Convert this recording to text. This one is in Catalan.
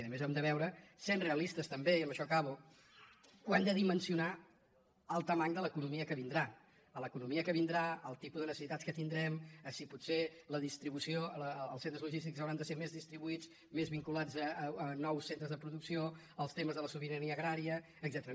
i a més hem de veure sent realistes també i amb això acabo que ho han de dimensionar al volum de l’economia que vindrà a l’economia que vindrà al tipus de necessitats que tindrem a si potser els centres logístics hauran de ser més distribuïts més vinculats a nous centres de producció als temes de la sobirania agrària etcètera